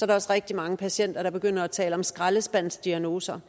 der også rigtig mange patienter der begynder at tale om skraldespandsdiagnoser